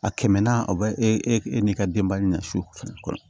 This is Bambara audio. A kɛmɛ naani o bɛ e n'i ka denbaya nasugu fana